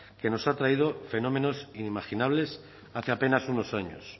que nos ha traído fenómenos inimaginables hace apenas unos años